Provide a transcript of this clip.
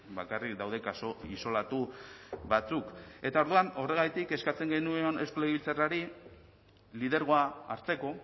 bakarrik daude kasu isolatu batzuk eta orduan horregatik eskatzen genion eusko legebiltzarrari lidergoa hartzeko